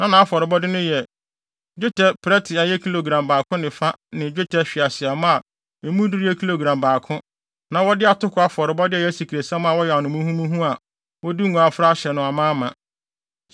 Na nʼafɔrebɔde no yɛ: dwetɛ prɛte a ɛyɛ kilogram baako ne fa ne dwetɛ hweaseammɔ a emu duru yɛ kilogram baako na wɔde atoko afɔrebɔde a ɛyɛ asikresiam a wɔayam no muhumuhu a wɔde ngo afra ahyɛ no amaama;